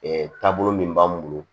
taabolo min b'an bolo